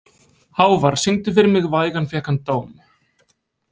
Hávar, syngdu fyrir mig „Vægan fékk hann dóm“.